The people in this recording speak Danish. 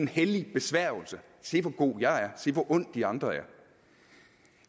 hellig besværgelse se hvor god jeg er se hvor ond de andre er